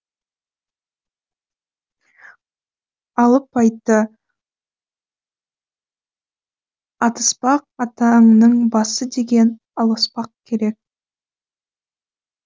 алып айтты атыспақ атаңның басы деген алыспақ керек